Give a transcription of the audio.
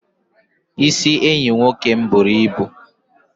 Isi enyi m nwoke buru ibu.